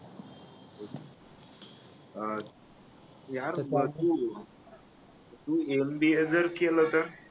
अह यार बा तू तू MBA जर केल तर